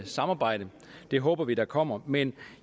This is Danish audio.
samarbejde det håber vi der kommer men